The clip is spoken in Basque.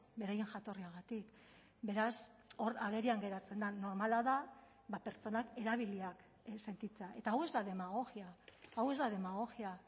beraien jatorriagatik beraz hor agerian geratzen da normala da pertsonak erabiliak sentitzea eta hau ez da demagogia hau ez da demagogia